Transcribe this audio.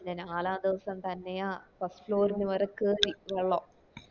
ല്ലെന നാലാം ദിവസം തന്നെയാ first floor വരയ്ക്കും കേറി വെള്ളം